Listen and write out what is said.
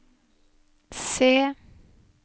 se